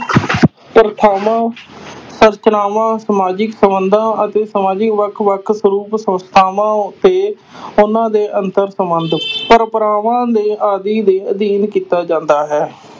ਪ੍ਰਥਾਵਾਂ ਸੰਰਚਨਾਵਾਂ, ਸਮਾਜਿਕ ਸੰਬੰਧਾਂ ਅਤੇ ਸਮਾਜੀ ਵੱਖ-ਵੱਖ ਸਰੂਪ, ਸੰਸਥਾਵਾਂ ਤੇ ਉਹਨਾਂ ਦੇ ਅੰਤਰ ਸੰਬੰਧ ਪਰੰਪਰਾਵਾਂ ਦੇ ਆਦਿ ਦੇ ਅਧੀਨ ਕੀਤਾ ਜਾਂਦਾ ਹੈ।